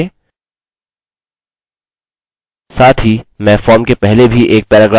मैं मेरे register page में वापस जाऊँगा हमें वह यहाँ मिला register पर क्लिक करते हैं